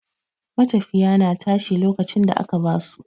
matafiya na tashi lokacin da aka ba su.